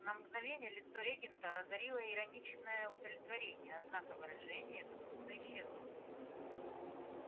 на мгновение лицо регента озарило ироничное удовлетворение однако выражение это быстро исчезло